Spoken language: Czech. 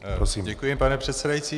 Děkuji, pane předsedající.